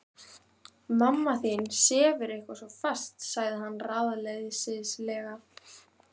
Mamma þín sefur eitthvað svo fast sagði hann ráðleysislega.